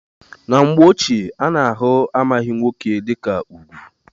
Na mgbe ochie a na-ahụ amaghị nwoke dịka ugwu.